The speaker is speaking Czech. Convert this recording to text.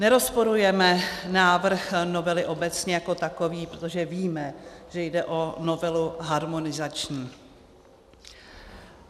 Nerozporujeme návrh novely obecně jako takový, protože víme, že jde o novelu harmonizační.